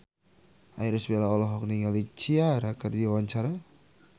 Irish Bella olohok ningali Ciara keur diwawancara